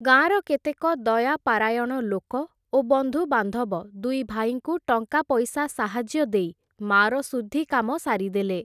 ଗାଁର କେତେକ ଦୟାପାରାୟଣ ଲୋକ, ଓ ବନ୍ଧୁବାନ୍ଧବ ଦୁଇ ଭାଇଙ୍କୁ ଟଙ୍କା ପଇସା ସାହାଯ୍ୟ ଦେଇ ମାଆର ଶୁଦ୍ଧିକାମ ସାରିଦେଲେ ।